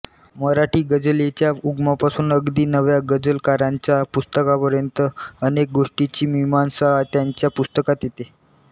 मराठी गझलेच्या उगमापासून अगदी नव्या गझलकारांच्या पुस्तकांपर्यंत अनेक गोष्टींची मीमांसा त्यांच्या पुस्तकात येते